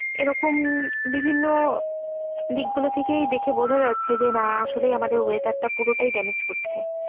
এরকম বিভিন্ন দিক গুলো থেকেই দেখে বোঝা যাচ্ছে যে না আসলেই আমাদের weather টা পুরোটাই damage করছে।